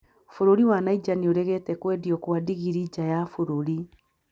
Bũrũri wa Niger nĩ ũregete kwendio kwa ndigiri nja ya bũrũri